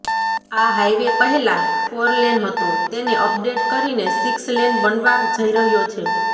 આ હાઈવે પહેલા ફોરલેન હતો તેને અપડેટ કરીને સિક્સ લેન બનવા જઈ રહ્યો છે